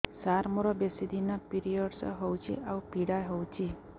ସାର ମୋର ବେଶୀ ଦିନ ପିରୀଅଡ଼ସ ହଉଚି ଆଉ ପୀଡା ହଉଚି